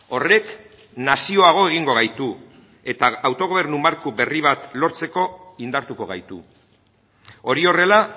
horrek nazioago egingo gaitu eta autogobernu marko berri bat lortzeko indartuko gaitu hori horrela